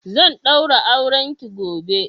zan daura aurenki gobe!